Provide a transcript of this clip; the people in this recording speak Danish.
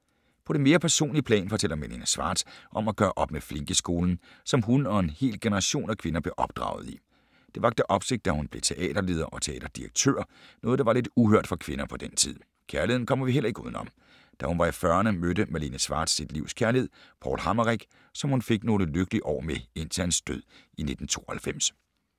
På det mere personlige plan fortæller Malene Schwartz om at gøre op med flinkeskolen, som hun og en hel generation af kvinder blev opdraget i. Det vakte opsigt, da hun blev teaterleder og teaterdirektør, noget der var lidt uhørt for kvinder på den tid. Kærligheden kommer vi heller ikke uden om. Da hun var i 40’erne mødte Malene Schwartz sit livs kærlighed, Paul Hammerich, som hun fik nogle lykkelige år med indtil hans død i 1992.